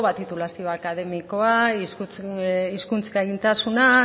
titulazio akademikoa hizkuntz gaitasuna